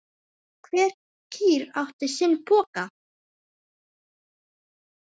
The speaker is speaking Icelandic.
Hver kýr átti sinn poka.